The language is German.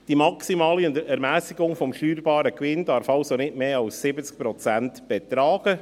Die maximale Ermässigung des steuerbaren Gewinns darf also nicht mehr als 70 Prozent betragen.